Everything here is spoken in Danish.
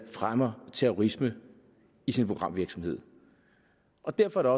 fremmer terrorisme i sin programvirksomhed og derfor er